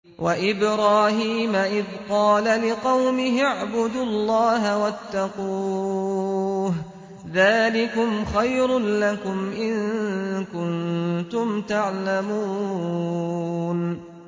وَإِبْرَاهِيمَ إِذْ قَالَ لِقَوْمِهِ اعْبُدُوا اللَّهَ وَاتَّقُوهُ ۖ ذَٰلِكُمْ خَيْرٌ لَّكُمْ إِن كُنتُمْ تَعْلَمُونَ